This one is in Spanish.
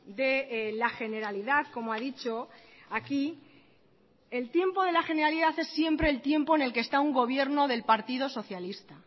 de la generalidad como ha dicho aquí el tiempo de la generalidad es siempre el tiempo en el que está un gobierno del partido socialista